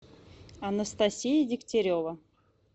анастасия дегтярева